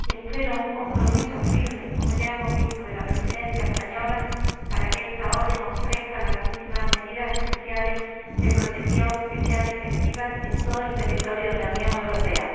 Espero un compromiso firme como ya hemos visto de la Presidencia española, para que esta orden ofrezca a las víctimas medidas especiales de protección que sean efectivas en todo el territorio de la Unión Europea.